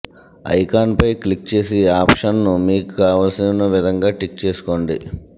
icon పై click చేసి ఆప్షన్స్ను మీకు కావల్సిన విధంగా టిక్ చేసుకోండి